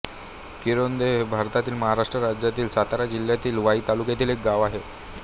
किरोंदे हे भारतातील महाराष्ट्र राज्यातील सातारा जिल्ह्यातील वाई तालुक्यातील एक गाव आहे